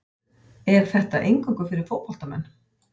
Er þetta eingöngu fyrir fótboltamenn?